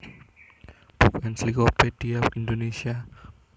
Buku Ensiklopedia Indonesia